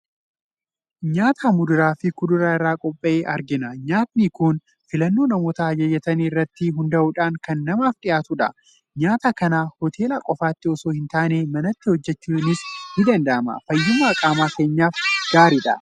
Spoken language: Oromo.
Nyaata muduraa fi kuduraa irraa qophaa'e argina. Nyaatni kun filannoo namoota ajajatanii irratti hundaa'uudhaan kan namaaf dhiyaatudha. Nyaata kana hoteelaa qofaatii osoo hin taane, manatti hojjetachuunis ni danda'ama. Fayyummaa qaama keenyaaf gaariidha.